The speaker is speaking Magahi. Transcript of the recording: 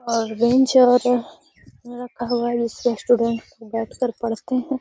और बेंच रखा हुआ है जिसपे स्टूडेंट बैठकर पढ़ते हैं।